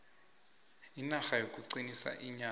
inarha yokugcina iinyathi